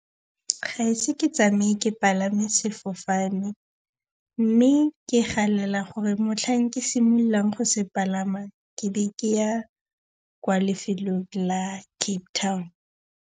Ga ise ke tsamaye ke palame sefofane. Mme ke galela gore motlhang ke simololang go se palama, ke be ke ya kwa lefelong la Cape Town.